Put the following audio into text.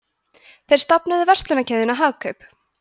þeir stofnuðu verslanakeðjuna hagkaup